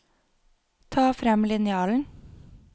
Ta frem linjalen